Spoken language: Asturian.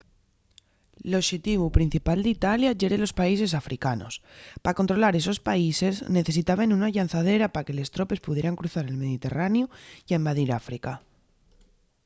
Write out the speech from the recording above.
l'oxetivu principal d'italia yeren los países africanos pa controlar esos países necesitaben una llanzadera pa que les tropes pudieran cruzar el mediterraneu ya invadir áfrica